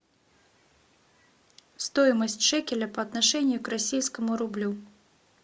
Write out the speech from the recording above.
стоимость шекеля по отношению к российскому рублю